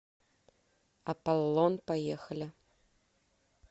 аполлон поехали